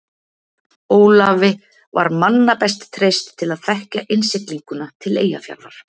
Ólafi var manna best treyst til að þekkja innsiglinguna til Eyjafjarðar.